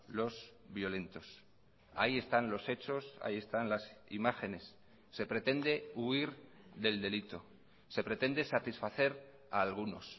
los violentos ahí están los hechos ahí están las imágenes se pretende huir del delito se pretende satisfacer a algunos